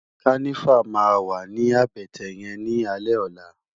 Kànivá mà wá ni àbètè yèn ni álè òlá